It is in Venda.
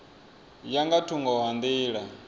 ya nga thungo ha nḓila